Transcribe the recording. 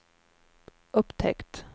upptäckt